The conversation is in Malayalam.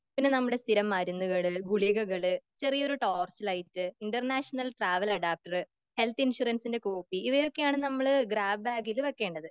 പിന്നെ നമ്മുടെ സ്ഥിരം മരുന്നുകള് ഗുളികകള്, ചെറിയ ഒരു torch light, international parallel adapter health ഇൻഷുറൻസിന്റെ കോപ്പി ഇവയൊക്കെയാണ് നമ്മള് ഗ്രാബ് ബാഗിൽ വെക്കേണ്ടത്.